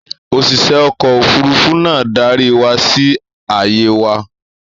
Òṣìṣẹ́ ọkọ̀-òfurufú náà darí wa sí ààyè wa.